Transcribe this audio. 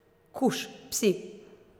Kuš, psi!